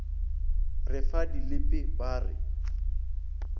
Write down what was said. re fa dilipi ba re